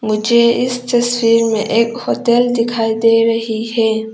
मुझे इस तस्वीर में एक होटल दिखाई दे रही है।